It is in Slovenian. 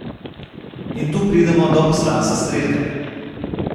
In tu pridemo do poslanstva Strelke.